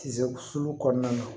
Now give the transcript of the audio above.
Tise sulu kɔnɔna na